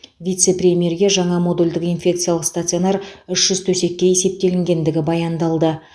вице премьерге жаңа модульдік инфекциялық стационар үш жүз төсекке есептелгендігі баяндалды